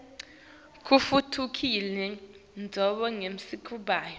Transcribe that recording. kutfutfukisa tindzawo tasemakhaya